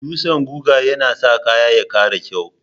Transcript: Dutsan guga yana sa kaya ya ƙara kyau.